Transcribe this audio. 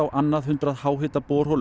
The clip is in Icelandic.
annað hundrað